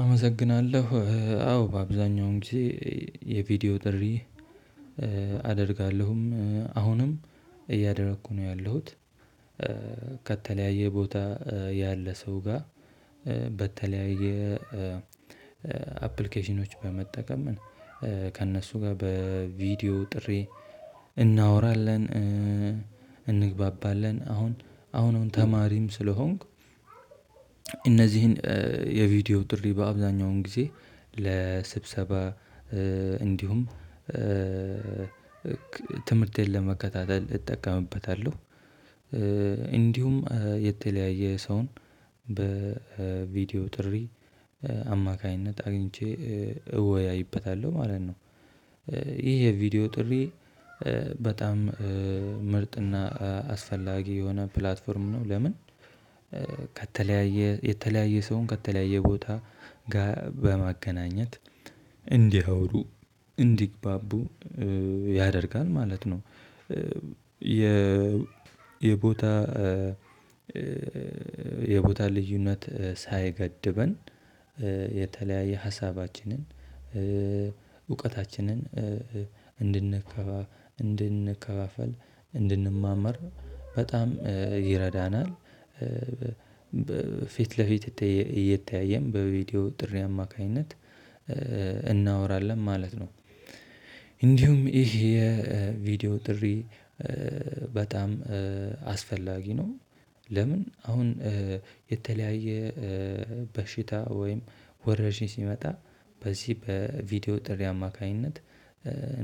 አመሰግናለሁ አዎ አብዛኛውን ጊዜ የቪዲዮ ጥሪ። አደርጋለሁም አሁንም እያደረኩ ነው ያለሁት። ከተለያየ ቦታ ያለ ሰው ጋር በተለያየ አፕሊኬሽኖች በመጠቀም ከእነሱ ጋር በቪዲዮ ጥሪ እናወራለን። እንግባባለን አሁን አሁን ተማሪም ስለሆንኩ። እነዚህን የቪዲዮ ጥሪ በአብዛኛውን ጊዜ ለስብሰባ እንዲሁም ትምህርቴን ለመከታተል እጠቀምበታለሁ። እንዲሁም የተለያየ ሰውን በቪዲዮ ጥሪ አማካኝነት አግኝቼ እወያይበታለሁ ማለት ነው። ይሄ ቪዲዮ ጥሪ በጣም ምርጥና አስፈላጊ የሆነ ፕላትፎርም ነው። ለምን? ከተለያየ የተለያየ ሰውን ከተለያየ ቦታ ጋር በማገናኘት እንዲያወሩ እንዲግባቡ ያደርጋል ማለት ነው። የ የቦታ የቦታ ልዩነት ሳይገድበን የተለያየ ሀሳባችንን እውቀታችንን እንድንከፋ እንድንከፋፈል እንድንማማር በጣም ይረዳናል። ፊት ለፊት እየተያየን በቪዲዮ ጥሪ አማካኝነት እናወራለን ማለት ነው። እንዲሁም ይሄ የቪዲዮ ጥሪ በጣም አስፈላጊ ነው። ለምን? አሁን የተለያየ በሽታ ወይም ወረርሺኝ ሲመጣ በዚህ በቪዲዮ ጥሪ አማካኝነት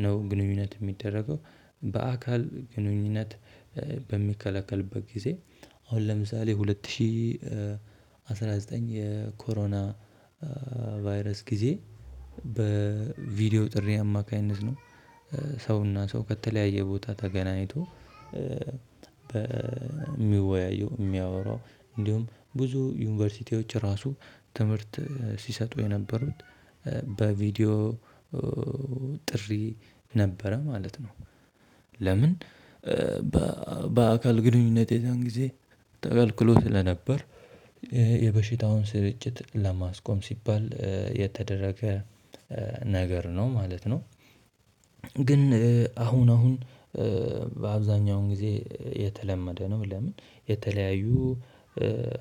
ነው ግንኙነት የሚደረገው። በአካል ግንኙነት በሚከለከልበት ጊዜ አሁን ለምሳሌ ሁለት ሺህ አስራ ዘጠኝ የኮሮና ቫይረስ ጊዜ በቪዲዮ ጥሪ አማካኝነት ነው። ሰውና ሰው ከተለያየ ቦታ ተገናኝቶ በሚወያየው የሚያወራው እንዲሁም ብዙ ዩኒቨርሲቲዎች ራሱ ትምህርት ሲሰጡ የነበሩት በቪዲዮ ጥሪ ነበረ ማለት ነው። ለምን? በ በአካል ግንኙነት የዛን ጊዜ ተከልክሎ ስለነበር ይሄ የበሽታውን ስርጭት ለማስቆም ሲባል የተደረገ ነገር ነው ማለት ነው። ግን አሁን አሁን በአብዛኛው ጊዜ የተለመደ ነው። ለምን? የተለያዩ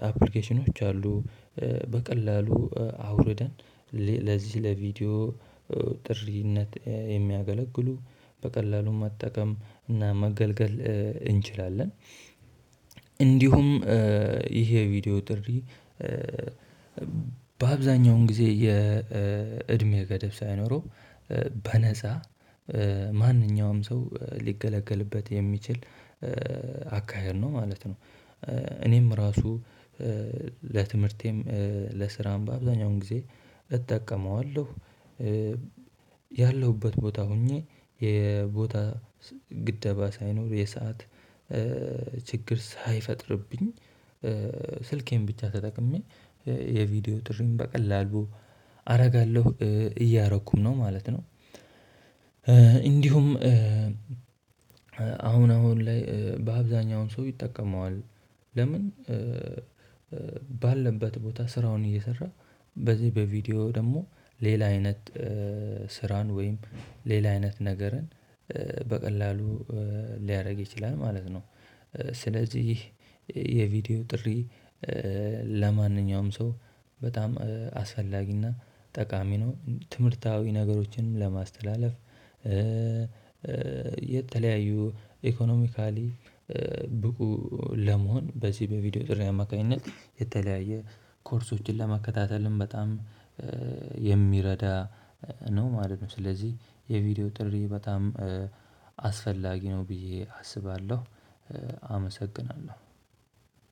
አፕሊኬሽኖች አሉ በቀላሉ አውርደን ለዚህ ለቪዲዮ ጥሪነት የሚያገለግሉ በቀላሉም መጠቀም እና መገልገል እንችላለን። እንዲሁም ይሄ የቪዲዮ ጥሪ በአብዛኛውን ጊዜ የእድሜ ገደብ ሳይኖረው በነፃ ማንኛውም ሰው ሊገለገልበት የሚችል አካሄድ ነው ማለት ነው። እኔም ራሱ ለትምህርቴም ለስራም በአብዛኛውን ጊዜ እጠቀመዋለሁ። ያለሁበት ቦታ ሆኜ የቦታ ግደባ ሳይኖር የሰዓት ችግር ሳይፈጥርብኝ ስልኬን ብቻ ተጠቅሜ የቪዲዮ ጥሪን በቀላሉ አደርጋለሁ እያረኩም ነው ማለት ነው። እንዲሁም አሁን አሁን ላይ በአብዛኛው ሰው ይጠቀመዋል። ለምን? ባለበት ቦታ ስራውን እየሰራ በዚህ በቪዲዮ ደግሞ ሌላ አይነት ስራን ወይም ሌላ አይነት ነገርን በቀላሉ ሊያደርግ ይችላል ማለት ነው። ስለዚህ የቪዲዮ ጥሪ ለማንኛውም ሰው በጣም አስፈላጊና ጠቃሚ ነው። ትምህርታዊ ነገሮችንም ለማስተላለፍ የተለያዩ ኢኮኖሚካሊ ብቁ ለመሆን በዚህ በቪዲዮ ጥሪ አማካኝነት የተለያየ ኮርሶችን ለመከታተልም በጣም የሚረዳ ነው ማለት ነው። ስለዚህ የቪዲዮ ጥሪ በጣም አስፈላጊ ነው ብዬ አስባለሁ። አመሰግናለሁ።